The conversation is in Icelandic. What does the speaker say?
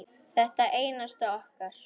Hvert einasta okkar.